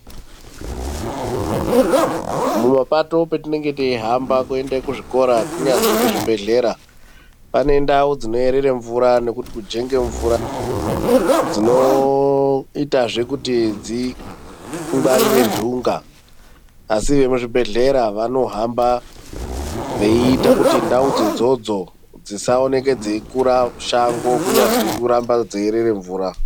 Mumapato petinenge teihamba kuende kuzvikora kunyazwi kuchibhedhlera pane ndau dzinoerera mvura nekuti kujinga mvura dzinoitezve zvekuti dzingwarire nhunga asi vekuzvibhedhlera vanohamba veiita kuti ndau dzona idzodzo dzisaoneka dzeikura shango kunyazwi kuramba dzeirera mvura.